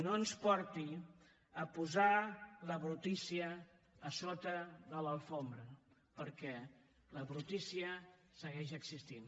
no ens porti a posar la brutícia a sota la catifa perquè la brutícia segueix existint